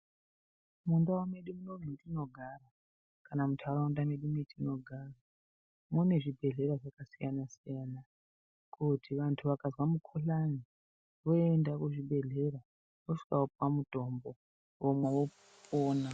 Mundau medu munomu metinogara kana muntaraunda medu metinogara mune zvibhedhlera zvakasiyana-siyana. Kuti vantu vakazwa mukuhlani voenda kuzvibhedhlera, voosvika vopuwa mutombo vomwa vopona.